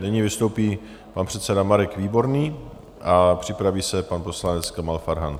Nyní vystoupí pan předseda Marek Výborný a připraví se pan poslanec Kamal Farhan.